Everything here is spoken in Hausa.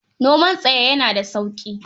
Noman tsaye yana da sauƙi.